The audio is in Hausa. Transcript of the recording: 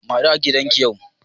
Mu haɗu a gidan giya yau